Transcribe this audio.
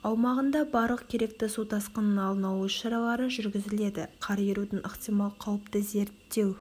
аумағында барлық керекті су тасқынының алдын алу іс шаралары жүргізіледі қар ерудің ықтимал қауіпті зерттеу